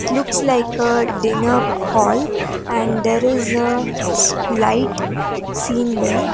Looks like a dinner hall and there is a light seen there.